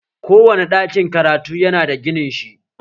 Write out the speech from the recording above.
Ko wane ɗakin karatu yana da ginin shi